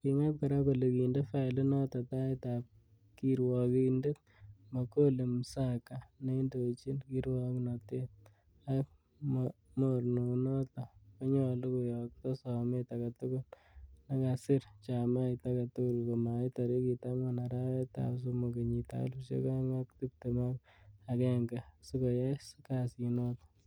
Ki ngat kora kole kinde failinoton taitab kirwokindet Mbogholi Msagha, neindochin kirwoknotet ak ne mornanoton konyolu koyokto somet agetugul nekakisir chamait agetugul komait tarigit angwan, arawetab somok kenyitab elfusiek oeng ak tibtem ak agenge sikoyai kesinoto.